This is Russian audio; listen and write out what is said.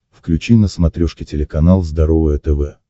включи на смотрешке телеканал здоровое тв